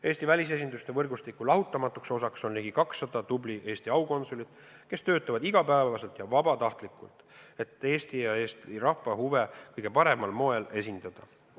Eesti välisesinduste võrgustiku lahutamatuks osaks on ligi 200 tublit Eesti aukonsulit, kes töötavad iga päev vabatahtlikult, et Eesti ja meie rahva huve kõige paremal moel esindada.